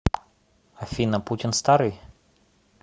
афина путин старый